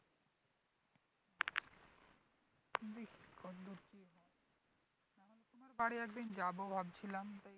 তোমার বাড়ি একদিন যাবো ভাবছিলাম তাই